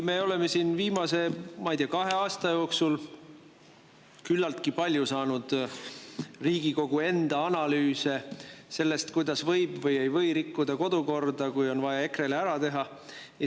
Me oleme siin viimase, ma ei tea, kahe aasta jooksul küllaltki palju saanud Riigikogu analüüse sellest, kuidas võib või ei või rikkuda kodukorda, kui on vaja EKRE-le ära teha.